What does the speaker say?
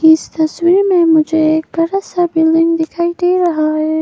इस तस्वीर में मुझे बड़ा सा बिल्डिंग दिखाई दे रहा है।